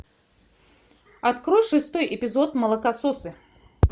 открой шестой эпизод молокососы